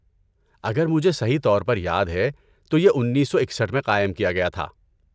اگر مجھے صحیح طور پر یاد ہے تو یہ اینسو اکسٹھ میں قائم کیا گیا تھا